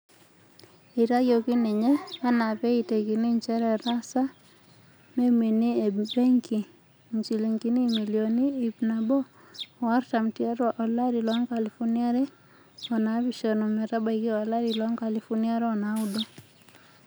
Eitayioki ninye enaa pee eitekini njere etaasa memini e benki injilingini imilioni iip nabo o artam tiatu olari loonkalifuni are o naapishana ometabaiki olari loonkalifuni are o naudo.